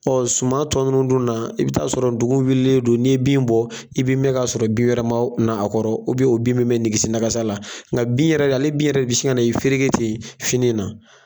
suman tɔ nunnu dun na i bɛ taa sɔrɔ dugu wililen don. N'i ye bin bɔ i bɛ mɛ kasɔrɔ bin wɛrɛ ma o kun na a kɔro o bin bɛ mɛ nigisi nagasa la ŋa bin yɛrɛ ale bin yɛrɛ de be sin ŋa n'i fereke ten fini na.